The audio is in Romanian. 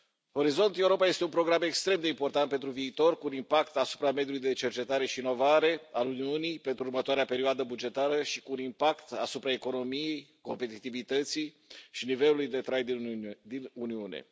Orizont Europa este un program extrem de important pentru viitor, cu un impact asupra mediului de cercetare și inovare al Uniunii pentru următoarea perioadă bugetară și cu un impact asupra economiei, competitivității și nivelului de trai din Uniune.